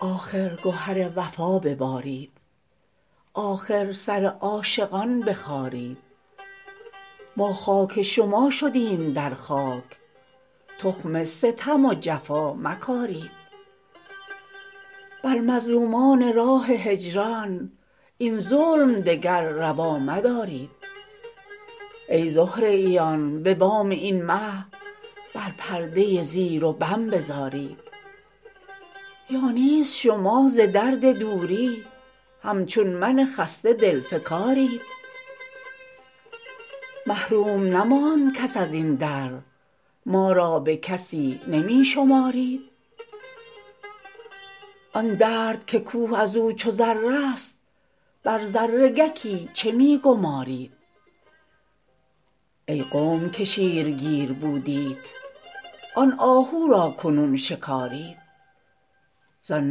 آخر گهر وفا ببارید آخر سر عاشقان بخارید ما خاک شما شدیم در خاک تخم ستم و جفا مکارید بر مظلومان راه هجران این ظلم دگر روا مدارید ای زهره ییان به بام این مه بر پرده زیر و بم بزارید یا نیز شما ز درد دوری همچون من خسته دلفکارید محروم نماند کس از این در ما را به کسی نمی شمارید آن درد که کوه از او چو ذره ست بر ذره گکی چه می گمارید ای قوم که شیرگیر بودیت آن آهو را کنون شکارید زان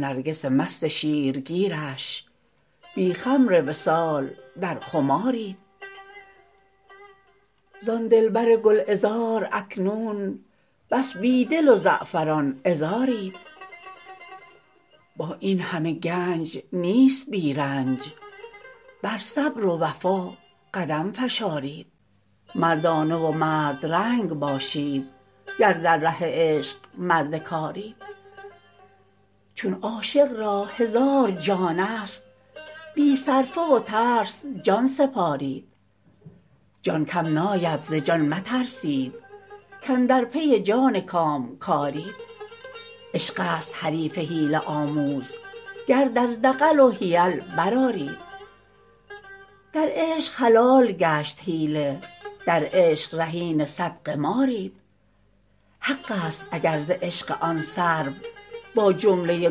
نرگس مست شیرگیرش بی خمر وصال در خمارید زان دلبر گلعذار اکنون بس بی دل و زعفران عذارید با این همه گنج نیست بی رنج بر صبر و وفا قدم فشارید مردانه و مردرنگ باشید گر در ره عشق مرد کارید چون عاشق را هزار جانست بی صرفه و ترس جان سپارید جان کم ناید ز جان مترسید کاندر پی جان کامکارید عشقست حریف حیله آموز گرد از دغل و حیل برآرید در عشق حلال گشت حیله در عشق رهین صد قمارید حقست اگر ز عشق آن سرو با جمله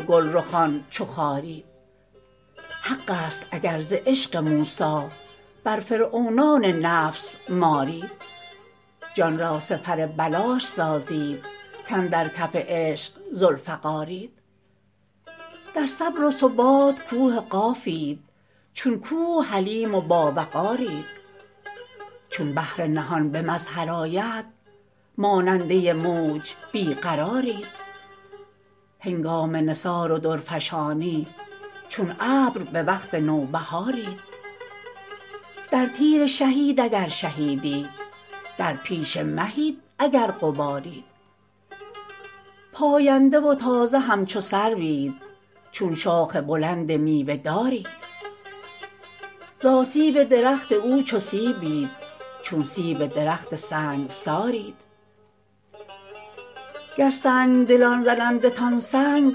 گلرخان چو خارید حقست اگر ز عشق موسی بر فرعونان نفس مارید جان را سپر بلاش سازید کاندر کف عشق ذوالفقارید در صبر و ثبات کوه قافید چون کوه حلیم و باوقارید چون بحر نهان به مظهر آید ماننده موج بی قرارید هنگام نثار و درفشانی چون ابر به وقت نوبهارید در تیر شهیت اگر شهیدیت در پیش مهیت اگر غبارید پاینده و تازه همچو سروید چون شاخ بلند میوه دارید ز آسیب درخت او چو سیبید چون سیب درخت سنگسارید گر سنگ دلان زنندتان سنگ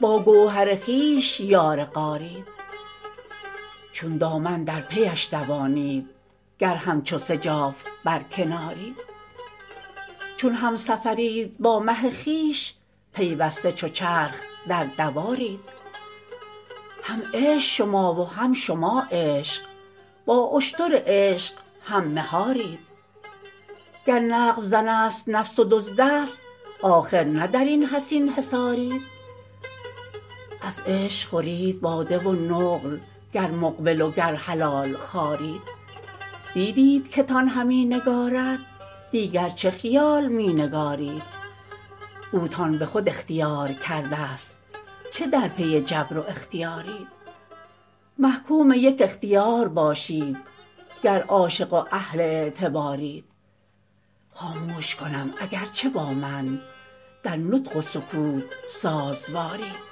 با گوهر خویش یار غارید چون دامن در پیش دوانید گر همچو سجاف بر کنارید چون همسفرید با مه خویش پیوسته چو چرخ در دوارید هم عشق شما و هم شما عشق با اشتر عشق هم مهارید گر نقب زنست نفس و دزدست آخر نه در این حصین حصارید از عشق خورید باده و نقل گر مقبل وگر حلال خوارید دیدیت که تان همی نگارد دیگر چه خیال می نگارید اوتان به خود اختیار کرده ست چه در پی جبر و اختیارید محکوم یک اختیار باشید گر عاشق و اهل اعتبارید خاموش کنم اگر چه با من در نطق و سکوت سازوارید